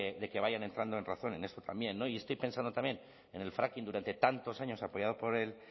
de que vayan entrando en razón en esto también y estoy pensando también en el fracking durante tantos años apoyado